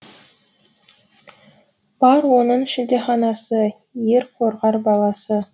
бар оның шілдеханасы ер қорғар баласы